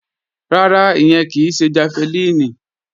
Rárá, ìyẹn kì í ṣe jafẹlíìnì